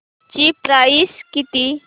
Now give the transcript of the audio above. ची प्राइस किती